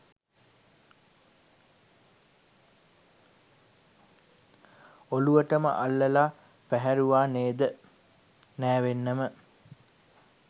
ඔළුවටම අල්ලලා පැහැරුවානේද නෑවෙන්නම